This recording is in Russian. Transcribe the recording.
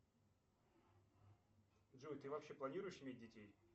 джой ты вообще планируешь иметь детей